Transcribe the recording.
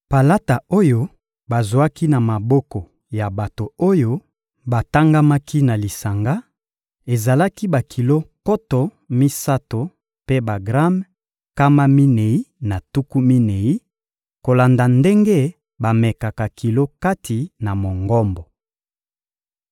Palata oyo bazwaki na maboko ya bato oyo batangamaki na lisanga, ezalaki bakilo nkoto misato mpe bagrame nkama minei na tuku minei, kolanda ndenge bamekaka kilo kati na Mongombo.